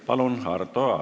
Palun, Arto Aas!